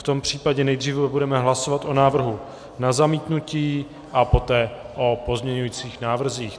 V tom případě nejdříve budeme hlasovat o návrhu na zamítnutí a poté o pozměňujících návrzích.